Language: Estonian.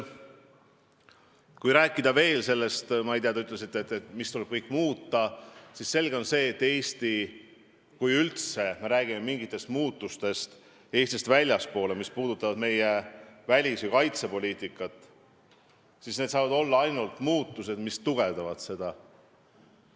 Kui rääkida sellest, mille kohta te ütlesite, mis kõik tuleb justkui muuta, siis on selge, et kui me üldse räägime mingitest muutustest Eesti välis- ja kaitsepoliitikas, siis need saavad olla ainult muudatused, mis tugevdavad meie positsiooni.